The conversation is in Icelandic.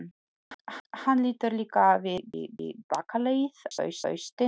Hann lítur líka við í bakaleið, á haustin.